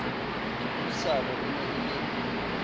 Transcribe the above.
dipuisanong e ne e le